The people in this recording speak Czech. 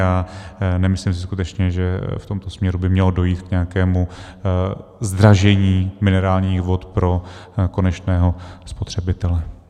A nemyslím si skutečně, že v tomto směru by mělo dojít k nějakému zdražení minerálních vod pro konečného spotřebitele.